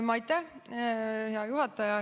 Aitäh, hea juhataja!